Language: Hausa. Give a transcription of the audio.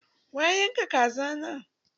Wa ya yan ka kazana na?